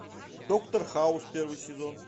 доктор хаус первый сезон